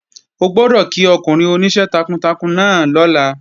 O gbọ́dọ̀ kí ọkùnrin oníṣẹ́ takuntakun náà lọ́la!